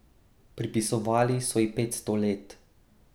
Pripisovali so ji petsto let.